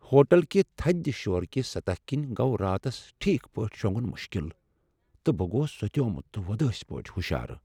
Hotel كہِ تھدِ شوركۍ سطح كِنۍ گو راتس ٹھیك پٲٹھۍ شونگُن مُشكِل ، تہٕ بہٕ گوس سوتیومُت تہٕ وودٲسۍ پٲٹھۍ ہُشار ۔